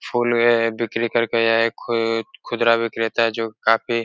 फूल है। बिक्री करके यह खुद खुदरा विक्रेता है जो काफी --